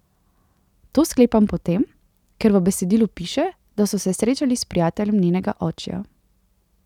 To sklepam po tem, ker v besedilu piše, da so se srečali s prijateljem njenega očija.